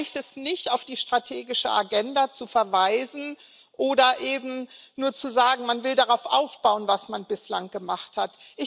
Da reicht es nicht, auf die strategische Agenda zu verweisen oder eben nur zu sagen, man will darauf aufbauen, was man bislang gemacht hat.